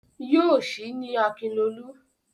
Yóò sì ní Akinlolú.